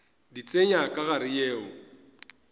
di tsenya ka gare yeo